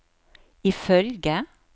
ifølge